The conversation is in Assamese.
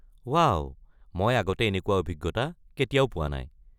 ৱাও। মই আগতে এনেকুৱা অভিজ্ঞতা কেতিয়াও পোৱা নাই।